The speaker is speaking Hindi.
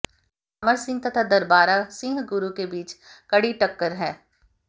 अमर सिंह तथा दरबारा सिंह गुरु के बीच कड़ी टक्कर है